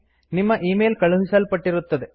ನಿಮ್ಮ ಇಮೇಲ್ ಕಳುಹಿಸಲ್ಪಟ್ಟಿರುತ್ತದೆ